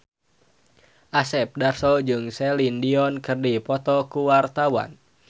Asep Darso jeung Celine Dion keur dipoto ku wartawan